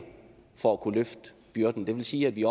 for at kunne løfte byrden det vil sige at vi